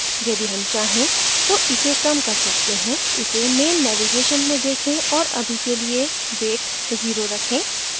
यदि हम चाहें तो इसे कम कर सकते हैं इसे main navigation में देखें और अभी के लिए weight 0 रखें